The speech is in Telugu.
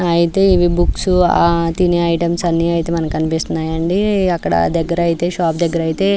ఐతే ఇవి బుక్స్ ఆహ్ తినె ఐటమ్స్ అన్ని అయితే మనకి కనిపిస్తున్నాయ్ అండి అక్కడ దగ్గరైతే షాప్ దగ్గరైతే --